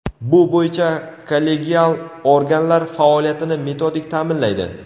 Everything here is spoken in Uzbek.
bu bo‘yicha kollegial organlar faoliyatini metodik taʼminlaydi.